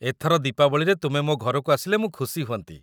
ଏଥର ଦୀପାବଳିରେ ତୁମେ ମୋ ଘରକୁ ଆସିଲେ ମୁଁ ଖୁସି ହୁଅନ୍ତି ।